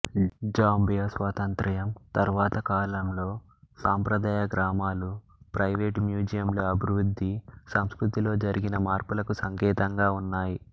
Zambia స్వాతంత్ర్యం తరువాత కాలంలో సాంప్రదాయ గ్రామాలు ప్రైవేటు మూజియంలు అభివృద్ధి సంస్కృతిలో జరిగిన మార్పులకు సంకేతంగా ఉన్నాయి